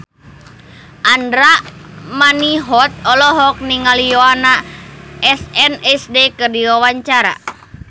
Andra Manihot olohok ningali Yoona SNSD keur diwawancara